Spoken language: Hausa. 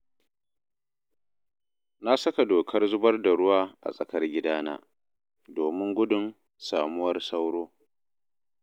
Na saka dokar zubar da ruwa a tsakar gidana, domin gudun samuwar sauro